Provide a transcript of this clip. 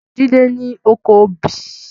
Jide ni ókó óbì